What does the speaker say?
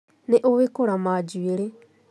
Nĩ ũĩ kũrama njũĩrĩ